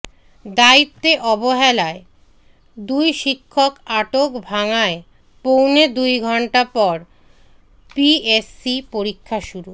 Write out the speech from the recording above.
দায়িত্বে অবহেলায় দুই শিক্ষক আটক ভাঙ্গায় পৌনে দুই ঘণ্টা পর পিএসসি পরীক্ষা শুরু